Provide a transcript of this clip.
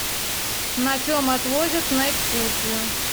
на чем отвозят на экскурсию